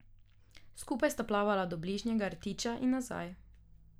Skupaj sta plavala do bližnjega rtiča in nazaj.